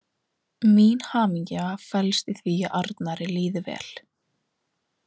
Mín hamingja felst í því að Arnari líði vel.